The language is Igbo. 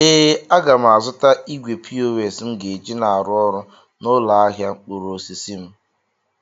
Ee, aga m azụta igwe pos m ga-eji na-arụ ọrụ n'ụlọ ahịa mkpụrụ osisi m.